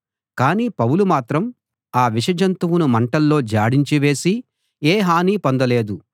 కానీ పౌలు మాత్రం ఆ విష జంతువును మంటలో జాడించివేసి ఏ హానీ పొందలేదు